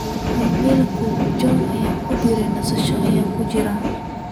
iimayl john ku deh nasasho aan ku jiraa